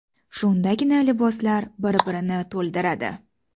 Shundagina liboslar bir-birini to‘ldiradi.